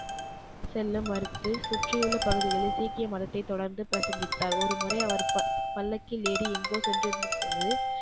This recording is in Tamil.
செல்ல மறுத்து சுற்றியுள்ள பகுதிகளில் சீக்கிய மதத்தை தொடர்ந்து பிரசங்கித்தார். ஒரு முறை அவர் ப பல்லக்கில் ஏறி எங்கோ சென்றிருந்த போது,